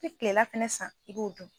I bi klela fɛnɛ san i b'o dun